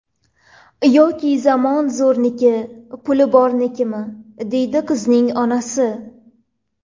Yoki zamon zo‘rniki, puli bornikimi?”, deydi qizning onasi.